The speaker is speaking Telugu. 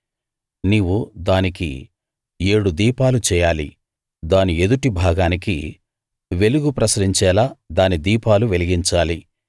నీవు దానికి ఏడు దీపాలు చేయాలి దాని ఎదుటి భాగానికి వెలుగు ప్రసరించేలా దాని దీపాలు వెలిగించాలి